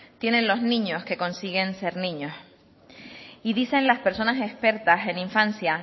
tienen los niños que consiguen ser niños y dicen las personas expertas en infancia